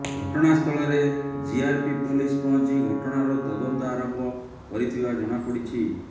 ଘଟଣା ସ୍ଥଳରେ GRP police ପହଞ୍ଚି ଘଟଣାର ତଦନ୍ତ ଆରମ୍ଭ କରିଥିବା ଜଣାପଡିଛି